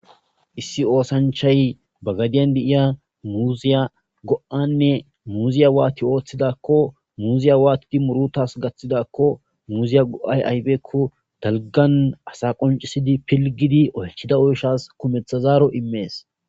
issi oosanchay ba gadiyan deiya muziya go7anne muziya waati ooththidakko muziya waatidi murutas gaththidakko muziya go7ay ayfeekko dalgan asa qoncisidi pilgidi oychida oyshas kumeththazaaro immees